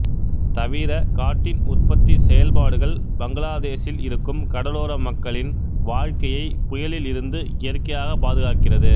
தவிர காட்டின் உற்பத்தி செயல்பாடுகள் பங்களாதேஸில் இருக்கும் கடலோர மக்களின் வாழ்க்கைக்கையை புயலில் இருந்து இயற்கையாக பாதுகாக்கிறது